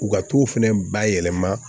U ka t'o fɛnɛ bayɛlɛma